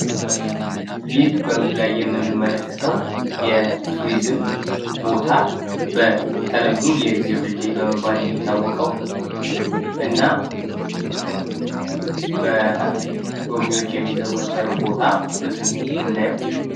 ይህ በምስሉ ላይ የምንመለከተው የቱሪዝም ቦታ በተለምዶ የእግዜር ድልድይ በመባል ነው የሚታወቀው እና በጎብኚዎች የሚዘዋትረው ምስል ነው ምናየው።